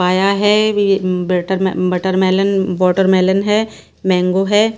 आया है। Butter melon watermelon है मैंगो है।